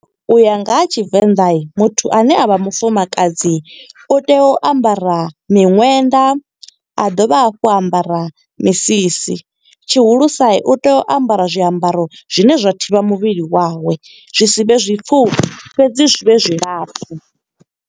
Uya nga ha Tshivenḓa, muthu ane a vha mufumakadzi u tea u ambara miṅwenda. A dovha hafhu a ambara misisi, tshihulusa u tea u ambara zwiambaro zwine zwa thivha muvhili wawe. Zwi si vhe zwi pfufhi, fhedzi zwi vhe zwilapfu.